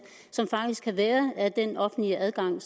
som der faktisk kan være af den offentlige adgang